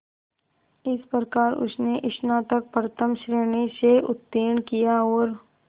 इस प्रकार उसने स्नातक प्रथम श्रेणी से उत्तीर्ण किया और